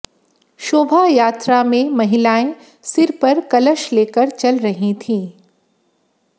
शोभा यात्रा में महिलाएं सिर पर कलश लेकर चल रही थीं